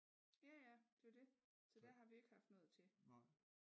Ja ja det var det så der har vi ikke haft noget til